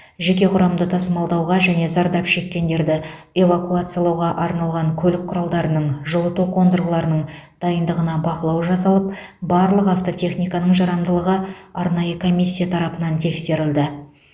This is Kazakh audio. жеке құрамды тасымалдауға және зардап шеккендерді эвакуациялауға арналған көлік құралдарының жылыту қондырғыларының дайындығына бақылау жасалып барлық автотехниканың жарамдылығы арнайы комиссия тарапынан тексерілді